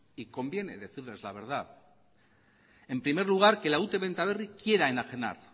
y conviene decirles la verdad en primer lugar que la ute benta berri quiera enajenar